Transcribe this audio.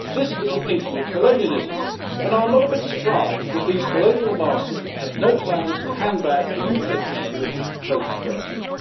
This is a thinking of colonialism, and I am not a bit surprised that these colonial masters have no plans to hand back the UK fishing waters post Brexit.